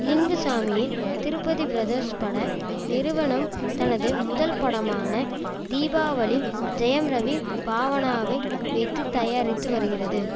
லிங்குசாமியின் Tirupati brothers பட நிறுவனம் தனது முதல் படமான தீபாவளி ஜெயம் ரவி பாவானாவை வைத்து தயாரித்து வருகிறது